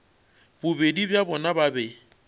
bobedi bja bona ba be